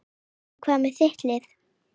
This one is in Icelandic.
En hvað með þitt lið?